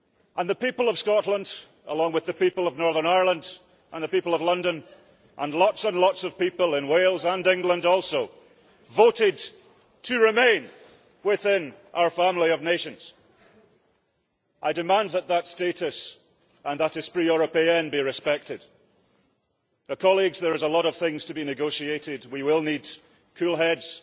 And the people of Scotland, along with the people of Northern Ireland and the people of London, and lots and lots of people in Wales and England also, voted to remain within our family of nations. I demand that that status and that esprit européen be respected. Colleagues, there is a lot of things to be negotiated, we will need cool heads